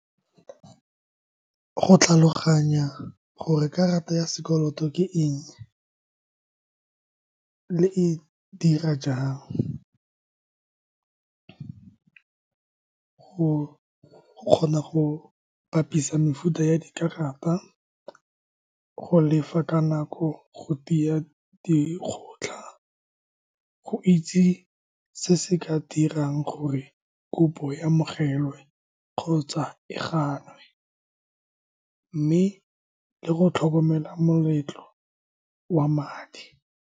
Go tlhaloganya gore karata ya sekoloto ke eng le e dira jang, go kgona go bapisa mefuta ya dikarata, go lefa ka nako, go tiya dikgotlha, go itse se se ka dirang gore kopo e amogelwe kgotsa e gannwe, mme le go tlhokomela moletlo wa madi.